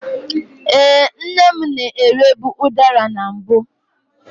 Ee, nne m na-erebu udara na mbụ.